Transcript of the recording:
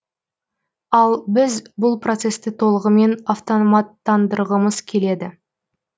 ал біз бұл процесті толығымен автоматтандырғымыз келеді